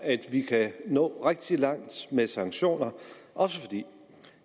vi kan nå rigtig langt med sanktioner også fordi